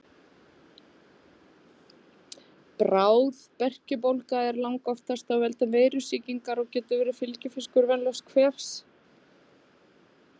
Bráð berkjubólga er langoftast af völdum veirusýkingar og getur verið fylgifiskur venjulegs kvefs.